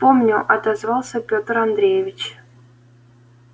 помню отозвался петр андреевич